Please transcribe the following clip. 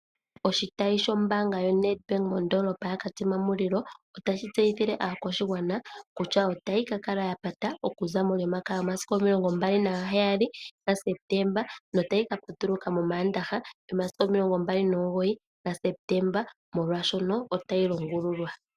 Oshitayi shombaanga yaNedbank mondoolopa yaKatima mulilo otashi tseyithile aakwashigwana kutya otayi ka kala yapata okuza molyomakaya yomasiku omilongo mbali naheyali gaSeptemba notayi ka patuluka momaandaha momomasiku omilongo mbali nomugoyi gaSeptemba molwashono otayi longululwa.